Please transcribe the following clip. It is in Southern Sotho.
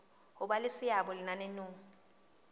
ho ba le seabo lenaneong